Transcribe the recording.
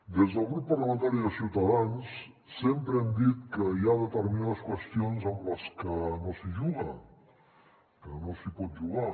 des del grup parlamentari de ciutadans sempre hem dit que hi ha determinades qüestions amb les que no s’hi juga que no s’hi pot jugar